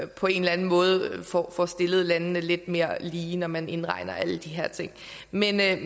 på en eller anden måde får får stillet landene lidt mere lige når man indregner alle de her ting men jeg